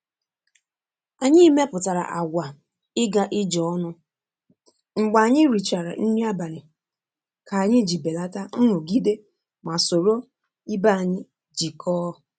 anyi meputara àgwà iga ije ọnụ mgbe anyi richara nri abalị ka anyi ji beleta nrụgide ma soro ibe anyi jikọọ